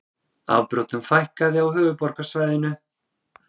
Afbrotum fækkaði á höfuðborgarsvæðinu